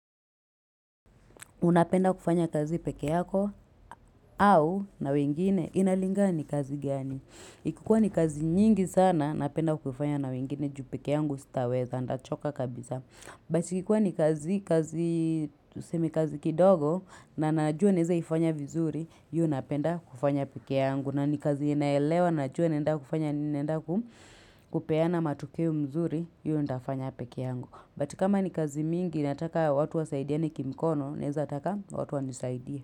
Unapenda kufanya kazi peke yako, au na wengine, inalingana ni kazi gani. Ikikuwa ni kazi nyingi sana, ninapenda kuifanya na wengine juu pekee yangu sitaweza, ndachoka kabisa. Basi ikikuwa ni kazi, kazi, tusemi kazi kidogo, na najua naweza ifanya vizuri, hiyo napenda kufanya peke yangu. Na ni kazi ninaelewa, najua ninaenda kufanya nini, ninaenda ku kupeana matokeo mzuri, hiyo nitafanya peke yangu. But kama ni kazi mingi inataka watu wasaidiane kimikono naweza taka watu wanisaidie.